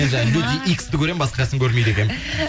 мен жаңа люди иксті көремін басқасын көрмейді екенмін